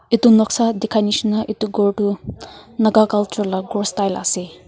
itu noksa dikhanishina itu ghor tu naga culture la ghor style ase.